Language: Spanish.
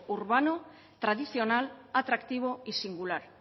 urbano tradicional atractivo y singular